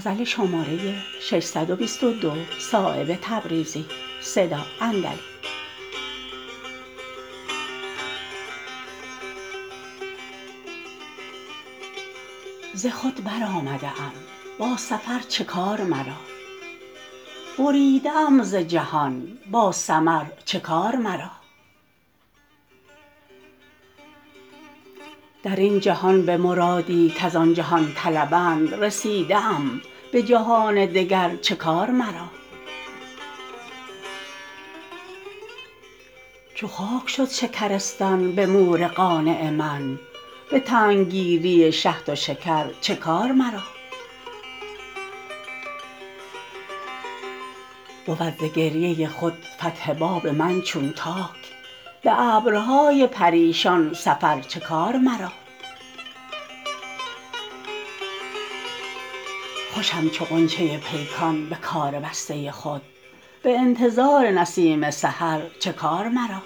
ز خود برآمده ام با سفر چه کار مرا بریده ام ز جهان با ثمر چه کار مرا درین جهان به مرادی کز آن جهان طلبند رسیده ام به جهان دگر چه کار مرا چو خاک شد شکرستان به مور قانع من به تنگ گیری شهد و شکر چه کار مرا بود ز گریه خود فتح باب من چون تاک به ابرهای پریشان سفر چه کار مرا خوشم چو غنچه پیکان به کار بسته خود به انتظار نسیم سحر چه کار مرا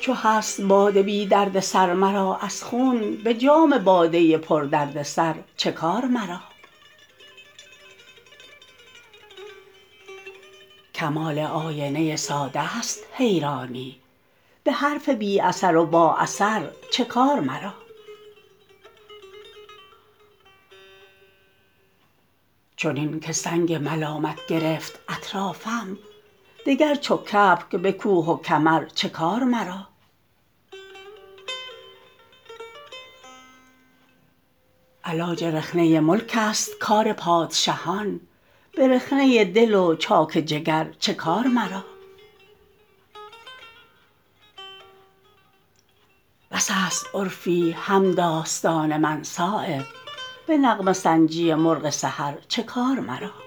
چو هست باده بی دردسر مر از خون به جام باده پر دردسر چه کار مرا کمال آینه ساده است حیرانی به حرف بی اثر و با اثر چه کار مرا چنین که سنگ ملامت گرفت اطرافم دگر چو کبک به کوه و کمر چه کار مرا علاج رخنه ملک است کار پادشهان به رخنه دل و چاک جگر چه کار مرا بس است عرفی همداستان من صایب به نغمه سنجی مرغ سحر چه کار مرا